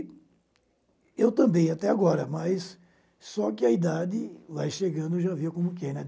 eu também até agora, mas só que a idade, lá chegando, já viu como que é, né?